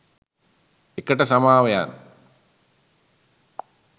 ඒකට සමාවෙයන්